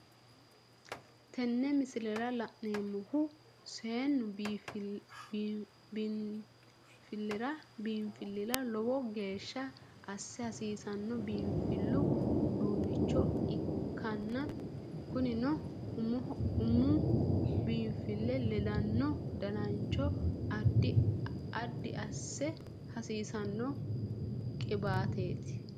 Teene miisilera laanemohu seenu biinflira loowo geesha asse hassisano biinfilu uuduncho ekkana kuunino uumu biinfile leedanno daanancho addi asse hassisano qiibateti.